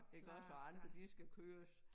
Iggås og andre de skal køres